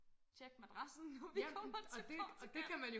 Tjek madrassen når vi kommer til Portugal